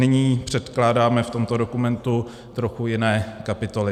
Nyní předkládáme v tomto dokumentu trochu jiné kapitoly.